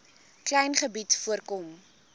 klein gebied voorkom